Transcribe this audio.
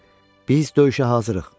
Biz döyüşə hazırıq.